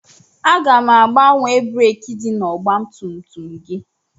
Aga m agbanwe breekị dị n'ọgbatumtum gị.